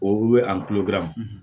O bɛ a kulo dilan